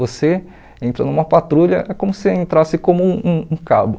Você entra numa patrulha, é como se você entrasse como um cabo.